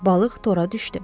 Balıq tora düşdü.